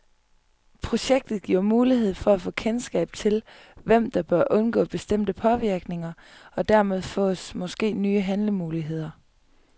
Projektet giver mulighed for at få kendskab til, hvem der bør undgå bestemte påvirkninger, og dermed fås måske nye handlemuligheder.